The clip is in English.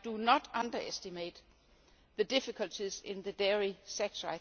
I do not underestimate the difficulties in the dairy